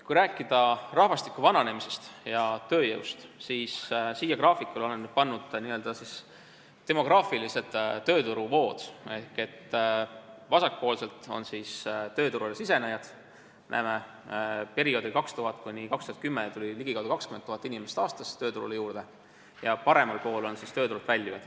Kui rääkida rahvastiku vananemisest ja tööjõust, siis olen siia graafikule pannud n-ö demograafilised tööturuvood: vasakul pool on tööturule sisenejad – näeme, et perioodil 2000–2010 tuli aastas tööturule juurde ligikaudu 20 000 inimest – ja paremal pool on tööturult väljujad.